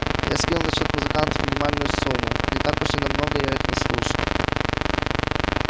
я скинул на счёт музыкантов минимальную сумму не так уж и на много я их наслушал